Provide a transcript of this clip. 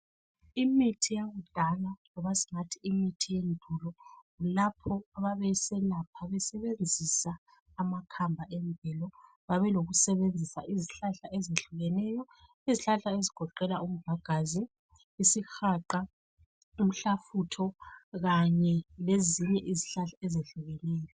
Imithi yakudala loba singathi imithi yendulo lapho ababeselapha besebenzisa amakhamba emvelo. Babelokusebenzisa izihlahla ezinengi ezuhlukeneyo .Izihlahla ezigoqela umvagazi, isihaqa, umhlafutho kanye lezinye izihlahla ezehlukeneyo.